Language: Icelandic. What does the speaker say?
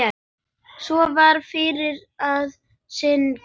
Svo var farið að syngja.